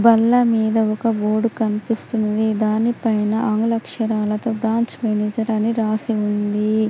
బల్ల మీద ఒక బోర్డ్ కనిపిస్తుంది దాని పైన ఆంగ్ల అక్షరాలతో బ్రాంచ్ మేనేజర్ అని రాసి ఉంది.